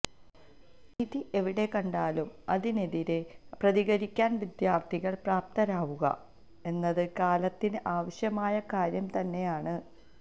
അനീതി എവിടെ കണ്ടാലും അതിനെതിരെ പ്രതികരിക്കാൻ വിദ്യാർത്ഥികൾ പ്രാപ്താരാവുക എന്നത് കാലത്തിന് ആവശ്യമായ കാര്യം തന്നെയാണ്